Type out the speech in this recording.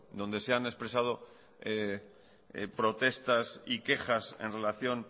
donde se han expresado protestas y quejas en relación